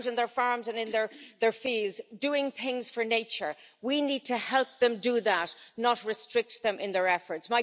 They're out in their farms and in their fields doing things for nature. We need to help them do that, not restrict them in their efforts.